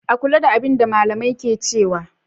A kula da abin da malamai ke cewa.